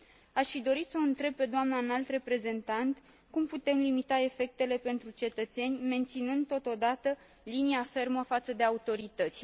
Aș fi dorit să o întreb pe doamna Înalt Reprezentant cum putem limita efectele pentru cetățeni, menținând, totodată, linia fermă față de autorități.